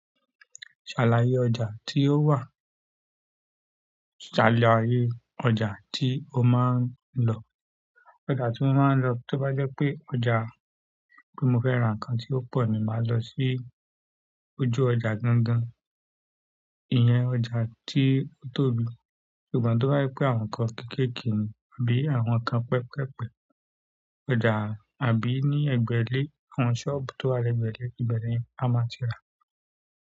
Ṣàlàyé ọjà tí ó wà? Ṣàlàyé ọjà tí o máa ń lọ? Ọjà tí mo máa ń lọ, tí ó bá jẹ́ pé ọjà tí mo fẹ́ ra nǹkan tí ó pọ̀ ni, màá lọ sí ojú ọjà gangan. Ìyẹn ọ̀jà tí ó tóbi. Ṣùgbọ́n tó bá je pé àwọn nǹkan kéékèèké ni àbí àwọn nǹkan pẹpẹpẹ, ọ̀jà àbí ní egbèlé, àwọn sọ́ọ̀bù tó wà ní egbèlé, ìbeni a máa ti ra.